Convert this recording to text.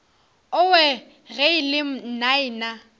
owe ge e le nnaena